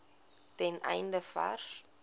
ten einde vars